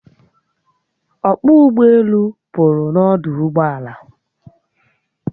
Ọkpọ ụgbọelu pụrụ n'ọdụ ụgbọala